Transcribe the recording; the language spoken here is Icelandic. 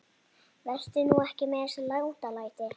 Vertu nú ekki með þessi látalæti.